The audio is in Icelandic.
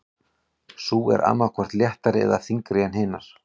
Sú er annað hvort léttari eða þyngri en hinar.